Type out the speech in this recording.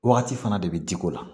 Wagati fana de bɛ di ko la